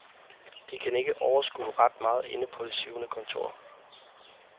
De kan ikke overskue ret meget inde på det syvende kontor.